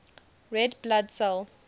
red blood cell